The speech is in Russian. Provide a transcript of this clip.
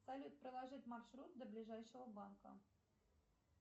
салют проложить маршрут до ближайшего банка